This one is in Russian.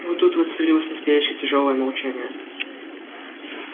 вот тут воцарилось настоящее тяжёлое молчание